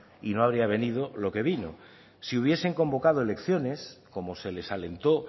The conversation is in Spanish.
y no habría venido lo que vino si hubiesen convocado elecciones como se les alentó